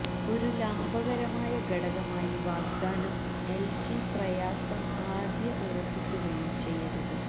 ഒരു ലാഭകരമായ ഘടകമായി വാഗ്ദാനം എൽജി പ്രയാസം ആദ്യ ഉറപ്പിക്കുകയും ചെയ്യരുത്